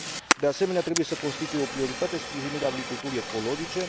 De asemenea, trebuie să constituie o prioritate sprijinirea agriculturii ecologice.